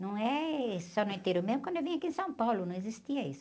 Não é só no interior, mesmo quando eu vim aqui em São Paulo não existia isso.